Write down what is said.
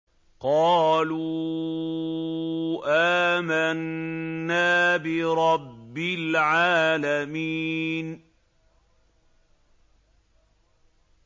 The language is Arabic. قَالُوا آمَنَّا بِرَبِّ الْعَالَمِينَ